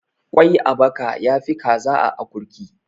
kwai a baka ya Fi kaza a akurki